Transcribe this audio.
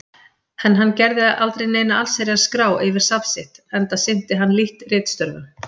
En hann gerði aldrei neina allsherjar-skrá yfir safn sitt, enda sinnti hann lítt ritstörfum.